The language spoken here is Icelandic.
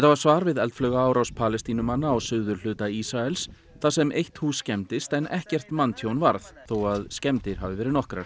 var svar við eldflaugaárás Palestínumanna á suðurhluta Ísraels þar sem eitt hús skemmdist en ekkert manntjón varð þó að skemmdir hafi verið nokkrar